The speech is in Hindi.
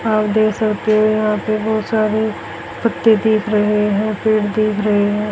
आप देख सकते हो यहां पे बहोत सारी पत्ते दिख रहे हैं पेड़ दिख रहे हैं।